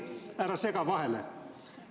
Ära sega vahele!